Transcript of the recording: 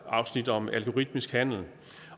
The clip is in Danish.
afsnit om algoritmisk handel